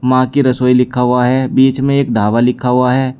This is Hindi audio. मां की रसोई लिखा हुआ है बीच में एक ढाबा लिखा हुआ है।